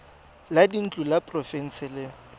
la dintlo la porofense le